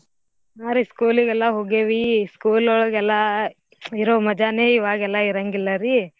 ಹಾರೀ school ಗೆಲ್ಲ ಹೋಗೆವೀ school ಒಳಗ್ ಎಲ್ಲಾ ಇರೋ ಮಜಾನೇ ಇವಾಗೆಲ್ಲಾ ಇರಾಂಗಿಲ್ಲರಿ.